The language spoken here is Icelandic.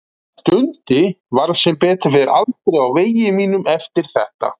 Dundi varð sem betur fer aldrei á vegi mínum eftir þetta.